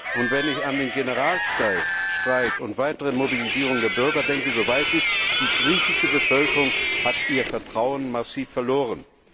Und wenn ich an den Generalstreik und an die weitere Mobilisierung der Bürger denke, so weiß ich, die griechische Bevölkerung hat ihr Vertrauen massiv verloren.